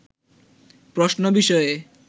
প্রশ্ন বিষয়ে